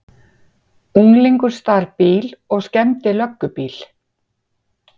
Unglingur stal bíl og skemmdi löggubíl